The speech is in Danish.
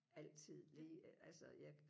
altid lige altså jeg